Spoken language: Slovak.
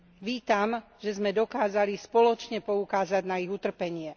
Vítam, že sme dokázali spoločne poukázať na ich utrpenie.